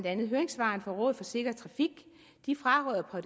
andet høringssvaret fra rådet for sikker trafik de fraråder på